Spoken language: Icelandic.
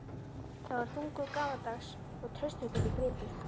Það var þungur, gamaldags og traustvekjandi gripur.